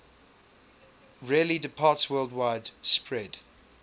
rarely departsworldwide spread